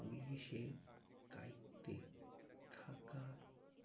পুলিশের দায়িত্বে থাকা